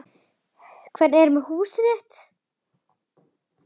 Hvernig er með húsið þitt